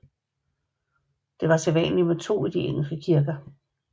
Det var sædvanligt med to i de engelske kirker